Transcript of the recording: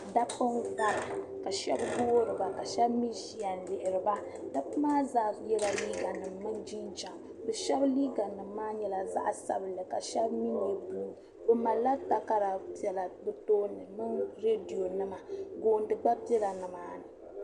Dabba n-vara ka shɛba ɡoori ba ka shɛba mi ʒiya n-lihiri ba dabba maa zaa yɛla liiɡanima mini jinjama shɛba liiɡanima maa zaa nyɛla zaɣ' sabila ka shɛba mi nyɛ buluu bɛ malla takara piɛla bɛ tooni mini reedionima ɡooni ɡba bela nimaani